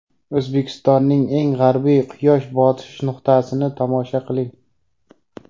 O‘zbekistonning eng g‘arbiy quyosh botish nuqtasini tomosha qiling.